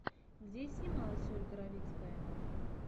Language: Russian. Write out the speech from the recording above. где снималась ольга равицкая